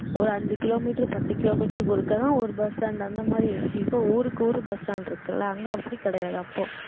ஒரு அஞ்சு கிலோமீட்டர் பத்து கிலோமீட்டருக்கு ஒருக்காதான் ஒரு bus stand அந்த மாதிரி இருந்துச்சு இப்போ ஊருக்கு ஊரு bus stand இருக்குல்ல அங்க அப்படி கிடையாது அப்போ